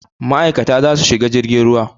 Ma'aikata za su shiga jirgin ruwa.